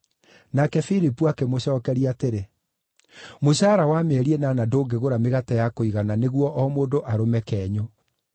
Nake Filipu akĩmũcookeria atĩrĩ, “Mũcara wa mĩeri ĩnana ndũngĩgũra mĩgate ya kũigana nĩguo o mũndũ arũme kenyũ!”